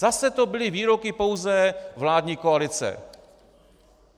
Zase to byly výroky pouze vládní koalice.